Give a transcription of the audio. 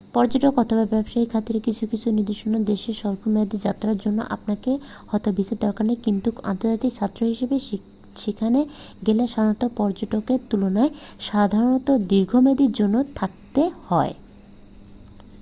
পর্যটক অথবা ব্যবসার খাতিরে কিছু কিছু নির্দিষ্ট দেশে স্বল্প মেয়াদের যাত্রার জন্য আপনার হয়তো ভিসার দরকার নেই কিন্তু আন্তর্জাতিক ছাত্র হিসেবে সেখানে গেলে সাধারণ পর্যটকের তুলনায় সাধারণত দীর্ঘমেয়াদের জন্য থাকতে হয়